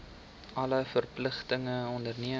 alle verpligtinge onderneem